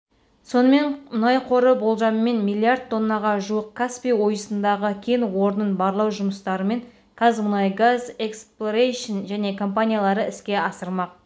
сонымен мұнай қоры болжаммен миллиард тоннаға жуық каспий ойысындағы кен орнын барлау жұмыстармен қазмұнайгаз эксплорейшн және компаниялары іске асырмақ